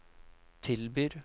tilbyr